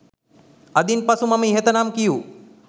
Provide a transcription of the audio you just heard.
අදින් පසු මම ඉහත නම් කියූ